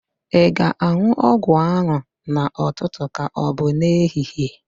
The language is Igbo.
Ị ga-an̄ụ ọgwụ ahụ n'ụtụtụ ka ọbụ n'ehihie?